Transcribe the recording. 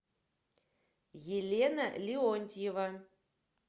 елена леонтьева